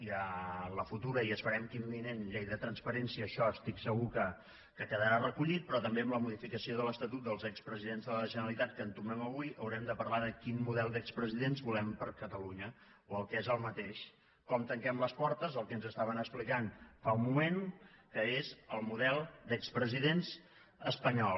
i a la futura i esperem que imminent llei de transparència això estic segur que quedarà recollit però també en la modificació de l’estatut dels expresidents de la generalitat que entomem avui haurem de parlar de quin model d’expresidents volem per a catalunya o el que és el mateix com tanquem les portes al que ens estaven explicant fa un moment que és el model d’expresidents espanyol